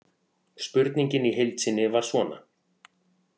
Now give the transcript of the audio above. Spurningin í heild sinni var svona: